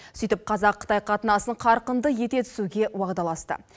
сөйтіп қазақ қытай қатынасын қарқынды ете түсуге уағдаласты